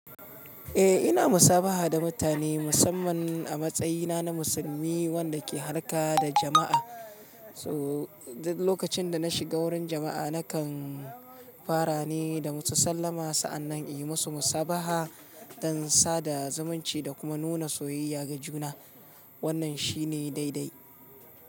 Eh ina musabaha da mutane musamman a matsayina na musulmi wanda ke harka da jama'a. To duk lokacin da na shiga wurin jama'a nakan fara ne da musu sallama sa'annan in yi musu musabaha don sada zumunci da kuma nuna soyayya ga juna. Wannan shi ne daidai.